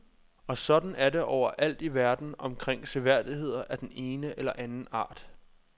Og sådan er det overalt i verden omkring seværdigheder af den ene eller anden art.